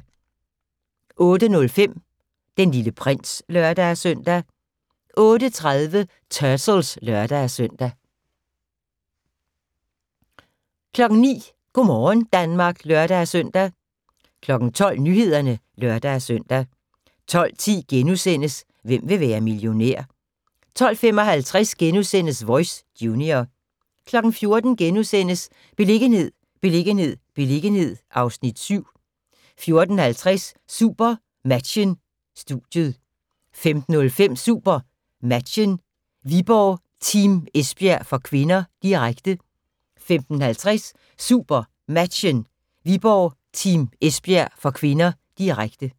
08:05: Den Lille Prins (lør-søn) 08:30: Turtles (lør-søn) 09:00: Go' morgen Danmark (lør-søn) 12:00: Nyhederne (lør-søn) 12:10: Hvem vil være millionær? * 12:55: Voice - junior * 14:00: Beliggenhed, beliggenhed, beliggenhed (Afs. 7)* 14:50: SuperMatchen: Studiet 15:05: SuperMatchen: Viborg-Team Esbjerg (k), direkte 15:50: SuperMatchen: Viborg-Team Esbjerg (k), direkte